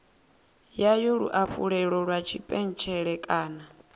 yayo luafhulelo lwa tshipentshele kana